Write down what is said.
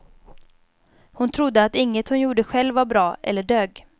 Hon trodde att inget hon gjorde själv var bra, eller dög.